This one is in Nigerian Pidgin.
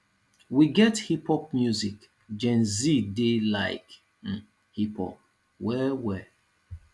we get hip pop music gen z dey like hip pop well well